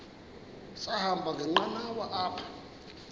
sahamba ngenqanawa apha